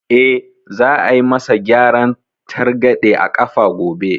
Eh, za a yi ma sa gyaran targaɗe a ƙafa gobe